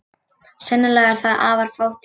Sennilega er það afar fátítt.